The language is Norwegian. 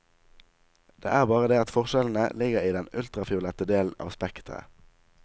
Det er bare det at forskjellene ligger i den ultrafiolette delen av spekteret.